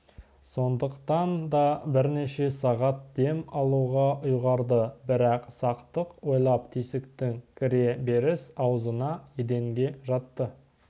сондықтан да бірнеше сағат дем алуға ұйғарды бірақ сақтық ойлап тесіктің кіре беріс аузына еденге жатты